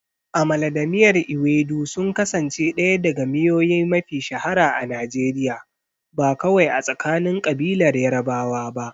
Amala da miyar ewedu sun kasance ɗaya daga miyoyi mafiya shahara a Najeriya, ba kawai a tsakanin ƙabilar Yarbawa ba.